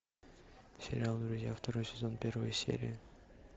сериал друзья второй сезон первая серия